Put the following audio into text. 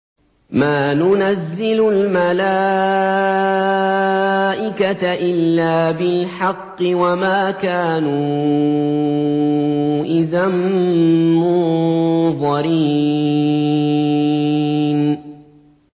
مَا نُنَزِّلُ الْمَلَائِكَةَ إِلَّا بِالْحَقِّ وَمَا كَانُوا إِذًا مُّنظَرِينَ